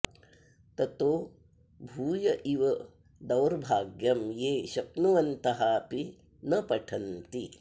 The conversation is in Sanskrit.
ततो भूय इव दौर्भाग्यं ये शक्नुवन्तः अपि न पठन्ति